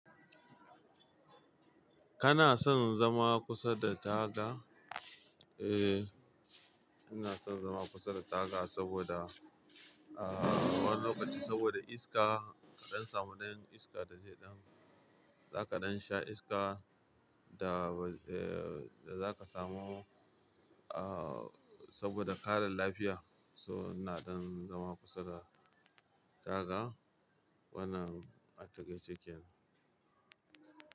Kana son zama kusa da taga? Eh, ina son zama kusa da taga saboda, ah, wani lokaci saboda iska. Dan samu dan iska da zai dan, zaka dan sha iska da ba, eh da zaka samu, ah, saboda karan lafiya. So ina dan zama kusa da taga. Wanan a takaice kenan.